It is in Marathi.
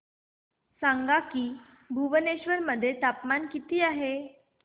सांगा की भुवनेश्वर मध्ये तापमान किती आहे